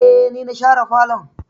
Eh, ni na share falon